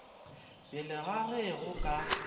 pele ga ge go ka